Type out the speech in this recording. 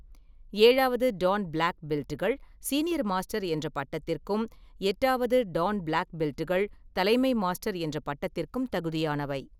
ஏழாவது dan black பெல்ட்கள் senior master என்ற பட்டத்திற்கும், எட்டாவது டான் பிளாக் பெல்ட்கள் தலைமை மாஸ்டர் என்ற பட்டத்திற்கும் தகுதியானவை.